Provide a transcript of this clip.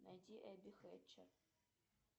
найди эбби хэтчер